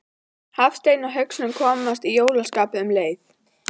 Hafsteinn Hauksson: Og komast í jólaskapið um leið?